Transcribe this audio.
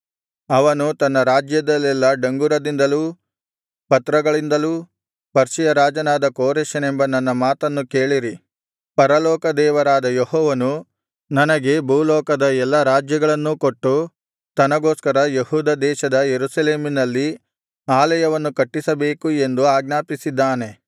ಅವನು ತನ್ನ ರಾಜ್ಯದಲ್ಲೆಲ್ಲಾ ಡಂಗುರದಿಂದಲೂ ಪತ್ರಗಳಿಂದಲೂ ಪರ್ಷಿಯ ರಾಜನಾದ ಕೋರೆಷನೆಂಬ ನನ್ನ ಮಾತನ್ನು ಕೇಳಿರಿ ಪರಲೋಕದೇವರಾದ ಯೆಹೋವನು ನನಗೆ ಭೂಲೋಕದ ಎಲ್ಲಾ ರಾಜ್ಯಗಳನ್ನೂ ಕೊಟ್ಟು ತನಗೋಸ್ಕರ ಯೆಹೂದ ದೇಶದ ಯೆರೂಸಲೇಮಿನಲ್ಲಿ ಆಲಯವನ್ನು ಕಟ್ಟಿಸಬೇಕು ಎಂದು ಆಜ್ಞಾಪಿಸಿದ್ದಾನೆ